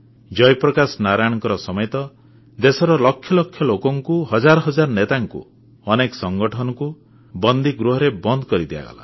ଜୟପ୍ରକାଶ ନାରାୟଣଙ୍କ ସମେତ ଦେଶର ଲକ୍ଷ ଲକ୍ଷ ଲୋକଙ୍କୁ ହଜାର ହଜାର ନେତାଙ୍କୁ ଅନେକ ସଙ୍ଗଠନକୁ ବନ୍ଦୀଗୃହରେ ବନ୍ଦ କରିଦିଆଗଲା